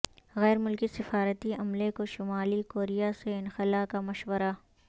غیر ملکی سفارتی عملے کو شمالی کوریا سے انخلا کا مشورہ